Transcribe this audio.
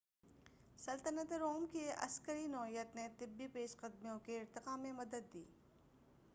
سلطنتِ Rome کی عسکری نوعیت نے طبی پیش قدمیوں کے ارتقاء میں مدد دی